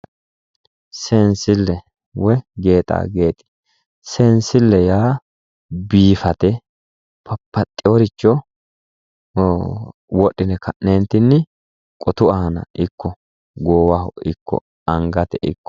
Seensile woyi gexagexe ,seensile yaa biifate babbaxeworicho wodhine ka'netinni qotu iima ikko gowaho ikko angate ikko